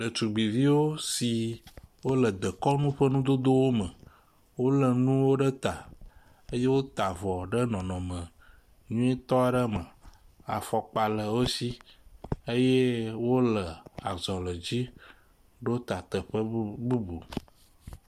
Ɖetugbiviwo si wo le dekɔnu ƒe nudodowo me. Wo le nuwo ɖe ta eye wota avɔ ɖe nɔnɔme nyuitɔ ɖe me. Afɔkpa le wo si eye wo le azɔli dzi ɖo ta teƒe bu bubu.